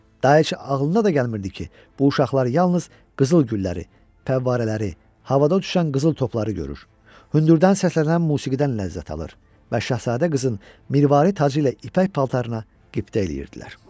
Daha heç ağlına da gəlmirdi ki, bu uşaqlar yalnız qızıl gülləri, pəvvarələri, havada uçan qızıl topları görür, hündürdən səslənən musiqidən ləzzət alır və Şahzadə qızın mirvari tacı ilə ipək paltarına qibtə eləyirdilər.